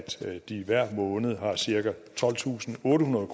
de hver måned har cirka tolvtusinde og ottehundrede